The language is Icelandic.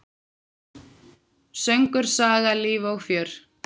Söngur, saga, líf og fjör!